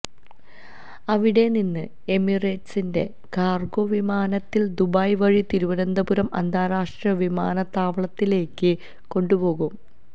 അവിടെനിന്ന് എമിറേറ്റ്സിന്റെ കാർഗോ വിമാനത്തിൽ ദുബായ് വഴി തിരുവനന്തപുരം അന്താരാഷ്ട്ര വിമാനത്താവളത്തിലേക്ക് കൊണ്ടുപോകും